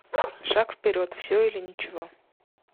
шаг вперед все или ничего